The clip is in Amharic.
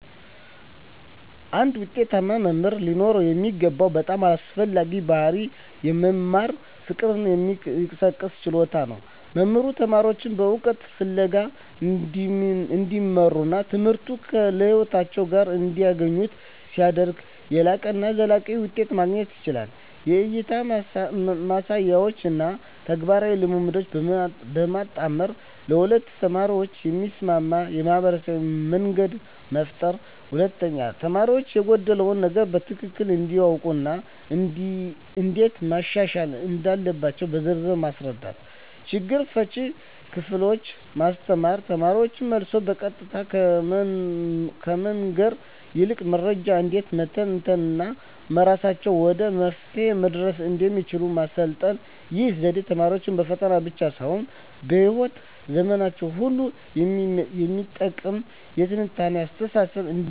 አንድ ውጤታማ መምህር ሊኖረው የሚገባው በጣም አስፈላጊው ባሕርይ የመማር ፍቅርን የመቀስቀስ ችሎታ ነው። መምህሩ ተማሪዎቹን በእውቀት ፍለጋ እንዲመሩና ትምህርቱን ከሕይወታቸው ጋር እንዲያገናኙ ሲያደርግ፣ የላቀና ዘላቂ ውጤት ማግኘት ይቻላል። 1) የእይታ ማሳያዎችን እና ተግባራዊ ልምምዶችን በማጣመር ለሁሉም ተማሪዎች የሚስማማ የመማርያ መንገድ መፍጠር። 2)ተማሪው የጎደለውን ነገር በትክክል እንዲያውቅ እና እንዴት ማሻሻል እንዳለበት በዝርዝር ማስረዳት። 3)ችግር ፈቺ ክህሎቶችን ማስተማር: ተማሪዎች መልሱን በቀጥታ ከመንገር ይልቅ መረጃን እንዴት መተንተን እና በራሳቸው ወደ መፍትሄው መድረስ እንደሚችሉ ማሰልጠን። ይህ ዘዴ ተማሪዎች በፈተና ብቻ ሳይሆን በሕይወት ዘመናቸው ሁሉ የሚጠቅም የትንታኔ አስተሳሰብ እንዲገነቡ ይረዳል።